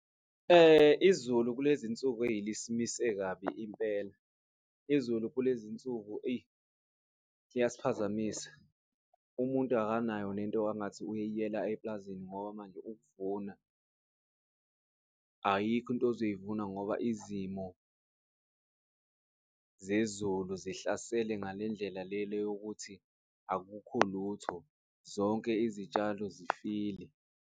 Izulu kulezinsuku eyi lisimise kabi impela, izulu kulezinsuku eyi liyasiphazamisa. Umuntu akanayo nento angathi uyela eplazini ngoba manje ukuvuna, ayikho into uzoyivuma ngoba izimo zezulu zihlasele ngale ndlela le yokuthi akukho lutho zonke izitshalo zifile.